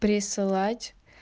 присылать